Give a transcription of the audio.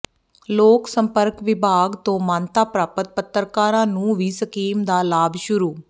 ਲੋਕ ਸੰਪਰਕ ਵਿਭਾਗ ਤੋਂ ਮਾਨਤਾ ਪ੍ਰਾਪਤ ਪੱਤਰਕਾਰਾਂ ਨੂੰ ਵੀ ਸਕੀਮ ਦਾ ਲਾਭ ਸ਼ੁਰੂ